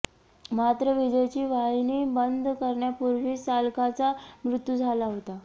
मात्र विजेची वाहिनी बंद करण्यापूर्वीच चालकाचा मृत्यू झाला होता